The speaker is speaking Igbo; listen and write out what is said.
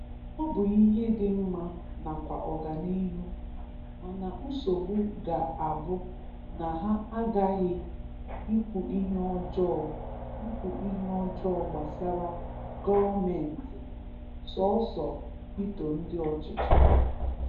Ọ bụ ihe dị mma nakwa oganihu, mana nsogbu ga-abụ na ha aghahi ikwu ihe ọjọọ ikwu ihe ọjọọ gbasara gọọmenti, sọsọ ito ndị ọchịchị